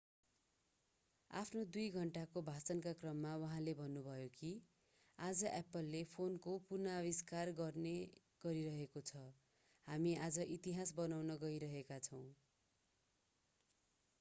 आफ्नो 2 घण्टाको भाषणका क्रममा उहाँले भन्नुभयो कि आज एप्पलले फोन पुनः आविष्कार गर्न गइरहेको छ हामी आज इतिहास बनाउन गइरहेका छौं